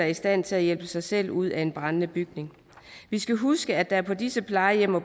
i stand til at hjælpe sig selv ud af en brændende bygning vi skal huske at der på disse plejehjem og